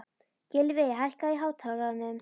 Gylfi, hækkaðu í hátalaranum.